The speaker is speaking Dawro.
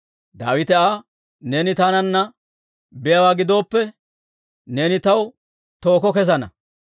Daawite Aa, «Neeni taananna biyaawaa gidooppe, neeni taw tookko kessana.